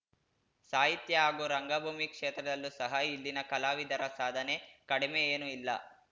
ಸಾಹಿತ್ಯ ಹಾಗೂ ರಂಗಭೂಮಿ ಕ್ಷೇತ್ರದಲ್ಲೂ ಸಹ ಇಲ್ಲಿನ ಕಲಾವಿದರ ಸಾಧನೆ ಕಡಿಮೆ ಏನೂ ಇಲ್ಲ